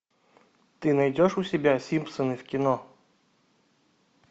ты найдешь у себя симпсоны в кино